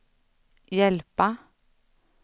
hjälpa